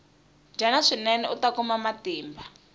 dyana swinene uta kuma matimba